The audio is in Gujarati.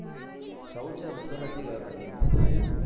જવું છે હું તો નથી ગયો ભાઈ હજુ